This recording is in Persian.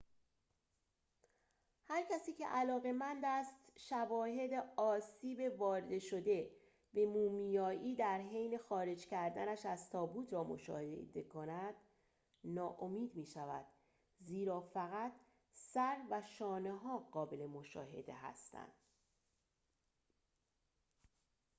هرکسی که علاقه‌مند است شواهد آسیب وارد شده به مومیایی در حین خارج کردنش از تابوت را مشاهده کند ناامید می‌شود زیرا فقط سر و شانه‌ها قابل مشاهده هستند